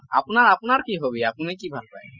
আপোনাৰ আপোনাৰ কি hobby আপুনি কি ভাল পায় ?